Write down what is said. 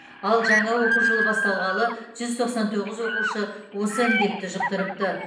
ал жаңа оқу жылы басталғалы жүз тоқсан тоғыз оқушы осы індетті жұқтырыпты